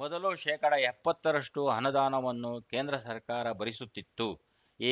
ಮೊದಲು ಶೇಕಡಾ ಎಪ್ಪತ್ತು ರಷ್ಟುಅನುದಾನವನ್ನು ಕೇಂದ್ರ ಸರ್ಕಾರ ಭರಿಸುತ್ತಿತ್ತು